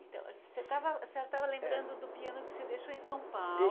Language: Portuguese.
Então, você estava, a senhora estava lembrando do piano que você deixou em São Paulo